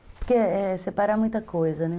Porque é separar muita coisa, né?